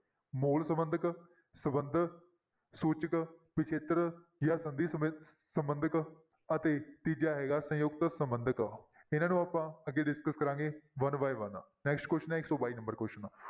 ਮੂਲ ਸੰਬੰਧਕ, ਸੰਬੰਧ ਸੂਚਕ, ਪਿੱਛੇਤਰ ਜਾਂ ਸੰਧੀ ਸਮੇ~ ਸੰਬੰਧਕ ਅਤੇ ਤੀਜਾ ਹੈਗਾ ਸੰਯੁਕਤ ਸੰਬੰਧਕ, ਇਹਨਾਂ ਨੂੰ ਆਪਾਂ ਅੱਗੇ discuss ਕਰਾਂਗੇ one by one next question ਹੈ ਇੱਕ ਸੌ ਬਾਈ number question